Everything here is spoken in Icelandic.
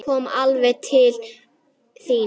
Kom alveg til mín.